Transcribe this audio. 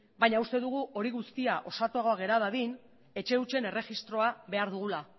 baina uste dugu hori guztia osatuagoa gera dadin etxe hutsen erregistroa behar dugula